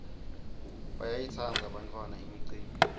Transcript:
bayayitsandza bantfwana imicimbi